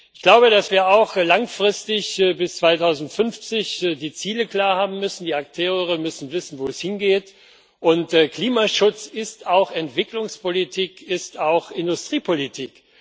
Ich glaube, dass wir auch langfristig bis 2050 die Ziele klar haben müssen die Akteure müssen wissen, wo es hingeht und Klimaschutz ist auch Entwicklungspolitik, er ist auch Industriepolitik.